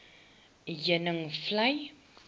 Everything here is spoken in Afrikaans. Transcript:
heuningvlei